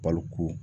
Balo ko